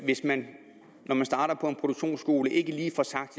hvis man starter på en produktionsskole og ikke lige får sagt